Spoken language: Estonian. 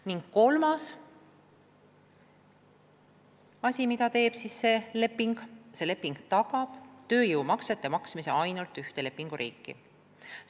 Ning kolmas asi: leping tagab tööjõumaksete maksmise ainult ühte lepinguriiki.